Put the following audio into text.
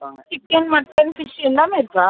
Chicken mutton fish எல்லாமே இருக்கா ?